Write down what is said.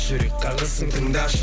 жүрек қағысын тыңдашы